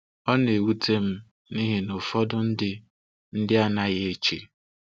Ọ na-ewute m nihi na ụfọdụ ndị ndị anaghị eche.